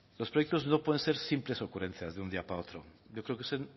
los proyectos no pueden ser simples ocurrencias de un día para otro yo creo que